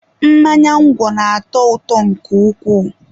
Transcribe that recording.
mmanya ngwọ na-atọ ụtọ nke ukwuu